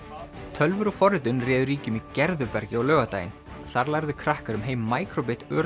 tölvur og forritun réðu ríkjum í Gerðubergi á laugardaginn þar lærðu krakkar um heim micro bit